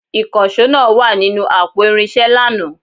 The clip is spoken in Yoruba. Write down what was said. Ìkànsó náà wa ninu àpò irinsé lànà